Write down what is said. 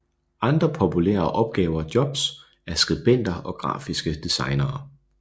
Andre populærer opgaver jobs er skribenter og grafiske designere